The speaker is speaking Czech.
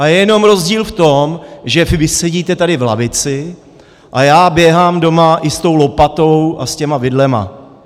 A je jenom rozdíl v tom, že vy sedíte tady v lavici a já běhám doma i s tou lopatou a s těmi vidlemi.